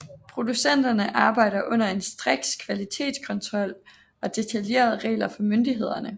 Producenterne arbejder under en striks kvalitetskontrol og detaljerede regler fra myndighederne